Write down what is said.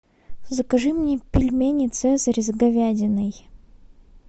закажи мне пельмени цезарь с говядиной